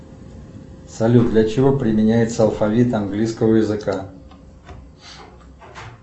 салют для чего применяется алфавит английского языка